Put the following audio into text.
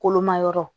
Kolomayɔrɔ